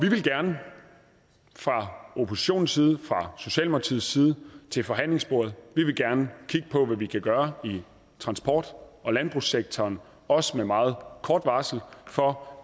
vil gerne fra oppositionens side fra socialdemokratiets side til forhandlingsbordet vi vil gerne kigge på hvad man kan gøre i transport og landbrugssektoren også med meget kort varsel for